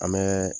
An bɛ